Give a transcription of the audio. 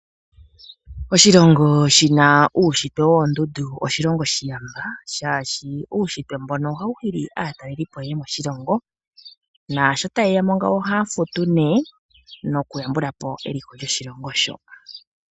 Oshilongo shina uunshitwe woondundu osho oshilongo oshiyamba shaashi uunshitwe mbono ohawu hili aatalelipo yeye moshilongo , naasho tayeya mo ohaya futu nokuyambulapo eliko lyoshilongo sho.